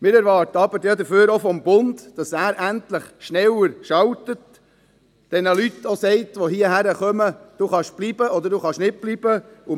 Wir erwarten dafür aber auch vom Bund, dass er endlich schneller schaltet, den Leuten, welche hierherkommen, sagt, «Du kannst bleiben» oder «Du kannst nicht bleiben».